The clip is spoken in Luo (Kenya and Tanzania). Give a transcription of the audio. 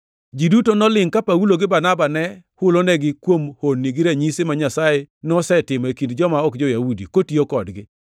Ji duto nolingʼ ka Paulo gi Barnaba ne hulonegi kuom honni gi ranyisi ma Nyasaye nosetimo e kind joma ok jo-Yahudi, kotiyo kodgi.